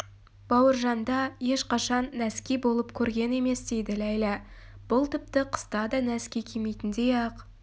бауыржанда ешқашан нәски болып көрген емес дейді ләйлә бұл тіпті қыста да носки кимейтіндей-ақ